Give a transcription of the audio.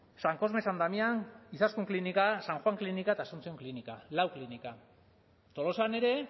san cosme san damián izaskun klinika san juan klinika eta asunción klinika lau klinika tolosan ere